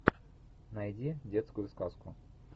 найди детскую сказку